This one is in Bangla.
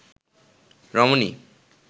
রমণী